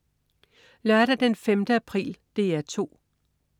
Lørdag den 5. april - DR 2: